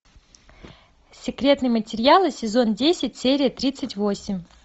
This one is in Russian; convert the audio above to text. секретные материалы сезон десять серия тридцать восемь